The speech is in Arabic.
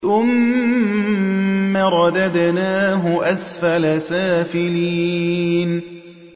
ثُمَّ رَدَدْنَاهُ أَسْفَلَ سَافِلِينَ